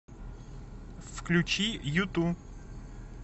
включи юту